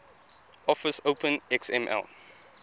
office open xml